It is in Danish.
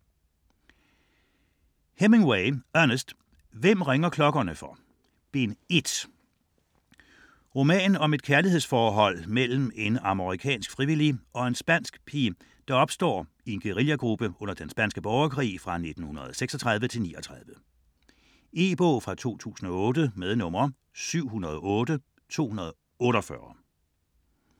Hemingway, Ernest: Hvem ringer klokkerne for?: Bind 1 Om et kærlighedsforhold mellem en amerikansk frivillig og en spansk pige, der opstår i en guerillagruppe under den spanske borgerkrig 1936-39. E-bog 708248 2008.